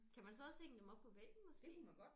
Kan man så også hænge dem op på væggen måske